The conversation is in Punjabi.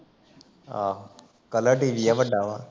ਆਹੋ ਕੱਲਾ ਟੀ. ਵੀ ਵੱੱਡਾ ਵਾ